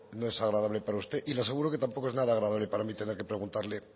no es agradable para usted y le aseguro que tampoco es nada agradable para mí tener que preguntarle